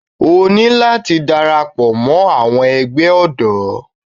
O ní láti dara pọ̀ mọ́ àwọn ẹgbẹ́ ọ̀dọ́.